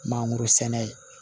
Mangoro sɛnɛ